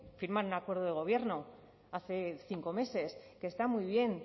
firmar un acuerdo de gobierno hace cinco meses que está muy bien